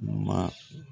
Ma